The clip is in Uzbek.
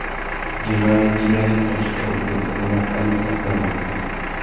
Jinoyatchi yashirinishga ulgurgan, uni politsiya qidirmoqda.